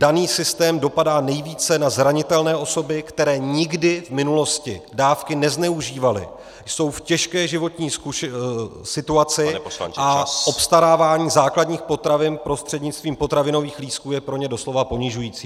Daný systém dopadá nejvíce na zranitelné osoby, které nikdy v minulosti dávky nezneužívaly, jsou v těžké životní situaci a obstarávání základních potravin prostřednictvím potravinových lístků je pro ně doslova ponižující.